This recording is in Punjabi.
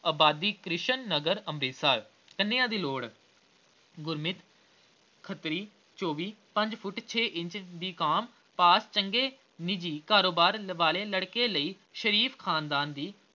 ਆਬਾਦੀ ਕ੍ਰਿਸ਼ਨ ਨਗਰ ਅੰਬਰਸਰ ਕੰਨੀਆ ਦੀ ਲੋੜ ਗੁਰਮਿਤ ਖੱਤਰੀ ਚੌਂਵੀ ਪੰਜ ਫੁੁੱਟ ਛੇ ਇੰਚ B. com ਪਾਸ ਚੰਗੇ ਨਿੱਜੀ ਕਾਰੋਬਾਰ ਵਾਲੇ ਲੜਕੇ ਲਈ ਸ਼ਰੀਫ ਖ਼ਾਨਦਾਨ ਦੀ